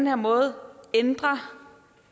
her måde ændrer